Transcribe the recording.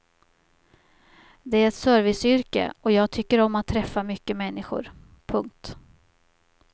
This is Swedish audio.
Det är ett serviceyrke och jag tycker om att träffa mycket människor. punkt